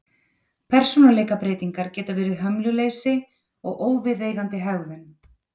Persónuleikabreytingar geta verið hömluleysi og óviðeigandi hegðun.